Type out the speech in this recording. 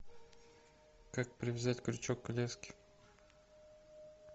как привязать крючок к леске